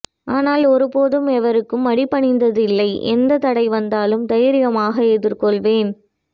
ஆனால் ஒரு போதும் எவருக்கும் அடிபணிந்ததில்லை எந்தத் தடை வந்தாலும் தைரியமாக எதிர்கொள்வேன்